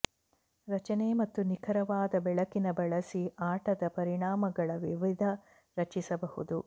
ರಚನೆ ಮತ್ತು ನಿಖರವಾದ ಬೆಳಕಿನ ಬಳಸಿ ಆಟದ ಪರಿಣಾಮಗಳ ವಿವಿಧ ರಚಿಸಬಹುದು